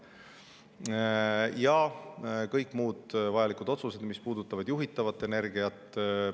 Ja kõik muud vajalikud otsused, mis puudutavad juhitavat energiat.